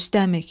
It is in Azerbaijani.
Rüstəm ik.